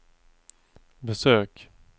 besök